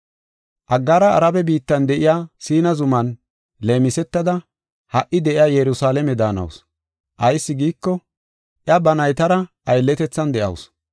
Aggaara Arabe biittan de7iya Siina zuman leemisetada ha77i de7iya Yerusalaame daanawusu. Ayis giiko, iya ba naytara aylletethan de7awusu.